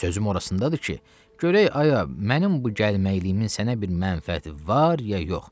Sözüm orasındadır ki, görək ay, mənim bu gəlməyimin sənə bir mənfəəti var ya yox.